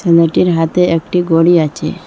মেয়েটির হাতে একটি ঘড়ি আচে ।